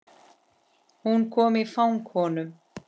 Hún kom í fang honum.